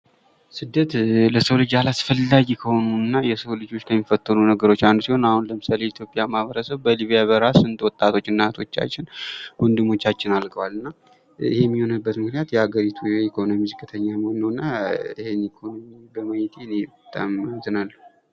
ስደት ለሰው ልጅ አላስፈላጊ ከሆኑ እና የሰውን ልጆች ከሚፈትኑ ነገሮች አንዱ ሲሆን አሁን ለምሳሌ የኢትዮጵያ ማኅበረሰብ በሊቢያ በረሀ ስንት ወጣቶች እናቶቻችን ወንድሞቻችን አልቀዋል እና ይህም የሆነበት ምክንያት የሀገሪቱ የኢኮኖሚ ዝቅተኛ መሆን ነው እና ይህን ኢኮኖሚ በማየቴ እኔ በጣም አዝናለሁ ።